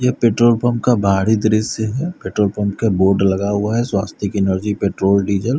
यह petrol pump का भारी दृश्य है पेट्रोल पंप के बोर्ड लगा हुआ है स्वास्तिक की एनर्जी पेट्रोल डीजल --